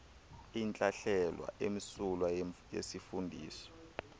intlahlela emsulwa yesifundisi